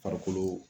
Farikolo